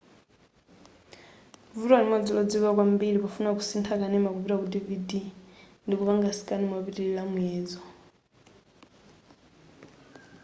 vuto limodzi lodziwika kwambiri pofuna kusintha kanema kupita ku dvd ndikupanga scan mopitilira muyezo